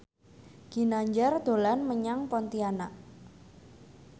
Ginanjar dolan menyang Pontianak